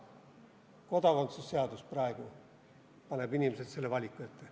Kodakondsuse seadus paneb praegu inimesed selle valiku ette.